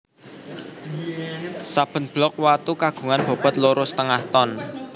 Saben blok watu kagungan bobot loro setengah ton